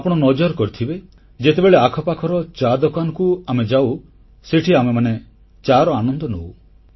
ଆପଣ ନଜର କରିଥିବେ ଯେତେବେଳେ ଆଖପାଖର ଚା ଦୋକାନକୁ ଆମେ ଯାଉ ସେଠି ଆମେମାନେ ଚାର ଆନନ୍ଦ ନଉ